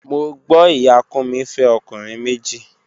Mo gbo iya Kunmi fe okunrin meji.